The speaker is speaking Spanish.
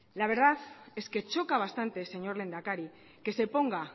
la verdad es que choca bastante señor lehendakari que se ponga